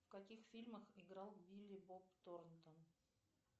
в каких фильмах играл билли боб торнтон